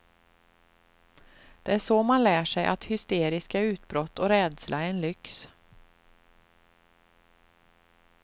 Det är så man lär sig att hysteriska utbrott och rädsla är en lyx.